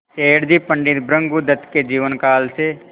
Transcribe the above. सेठ जी पंडित भृगुदत्त के जीवन काल से